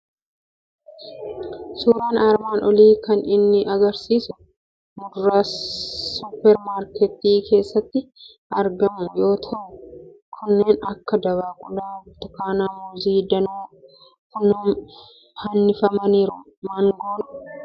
Suuraan armaan olii kan inni argisiisu muduraa suupar maarketii keessatti argamu yoo ta'u, kanneen akka dabaaqulaa, burtukaanaa, muuzii danuu fannifameeruu, maangoo fi kanneen biroo ni argamu. Kana malees hanqaaquun ni jira.